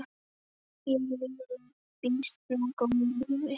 Ég lifi býsna góðu lífi!